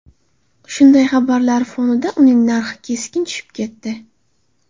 Shunday xabarlar fonida uning narxi keskin tushib ketdi.